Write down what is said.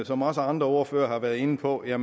som også andre ordførere har været inde på er